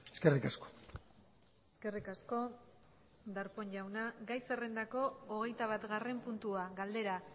eskerrik asko eskerrik asko darpón jauna gai zerrendako hogeita batgarren puntua galdera